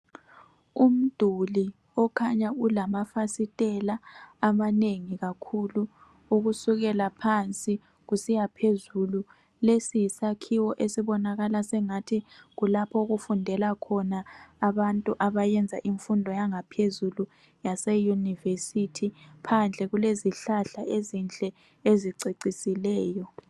umduli okhanya ulamafasitela amanengi kakhulu ukusukela phansi kusiya phezulu lesi yisakhiwo esibonakala engathi kulapho okufundela khona abantu abayenza imfundo yangaphezulu yase university phandle kulezihlahla ezinhle ezicecisileyo